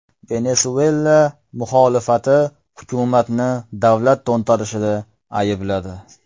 Venesuela muxolifati hukumatni davlat to‘ntarishida aybladi.